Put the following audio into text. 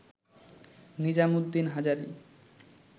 Nizam Uddin Hazari